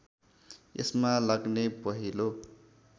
यसमा लाग्ने पहेँलो